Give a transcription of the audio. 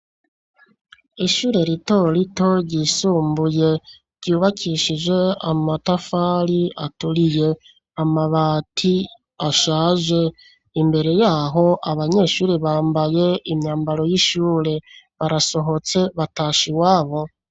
Ishure ritorito ryisumbuye ryubakishije amatafari aturiye amabati ashaje imbere yaho abanyeshuri bambaye imyambaro y'ishure barasohotse batasha i wabo.